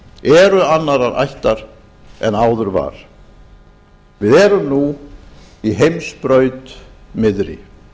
tækifæri eru annarrar ættar en áður var við erum nú í heimsbraut miðri